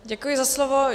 Děkuji za slovo.